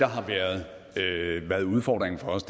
har været udfordringen for os